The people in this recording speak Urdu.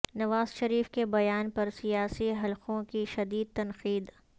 نواز شریف کے بیان پر سیاسی حلقوں کی شدید تنقید